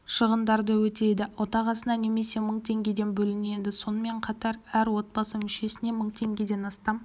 шығындарды өтейді отағасына немесе мың теңгеден бөлінеді сонымен қатар әр отбасы мүшесіне мың теңгеден астам